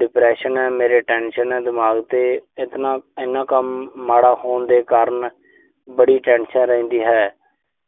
depression ਆ, ਮੇਰੇ tension ਆ ਦਿਮਾਗ ਤੇ। ਇੱਕ ਨਾ ਇੰਨਾ ਕੰਮ ਮਾੜਾ ਹੋਣ ਦੇ ਕਾਰਨ ਬੜੀ tension ਰਹਿੰਦੀ ਹੈ।